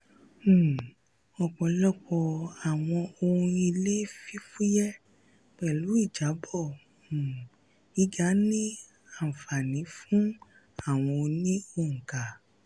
um ọpọlọpọ àwọn ohun ilé fífúyẹ́ pẹ̀lú ìjábọ̀ um gíga ní um anfani fún àwọn oní-óńkà.